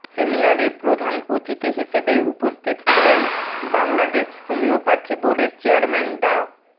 সেমিনারে প্রধান অতিথি হিসেবে উপস্থিত ছিলেন বাংলাদেশ হোমিওপ্যাথি বোর্ডের চেয়ারম্যান ডা